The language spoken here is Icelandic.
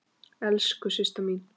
Elsku Systa mín.